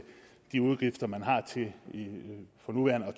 de udgifter man for nuværende har